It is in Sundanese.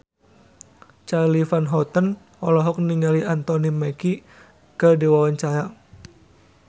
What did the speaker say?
Charly Van Houten olohok ningali Anthony Mackie keur diwawancara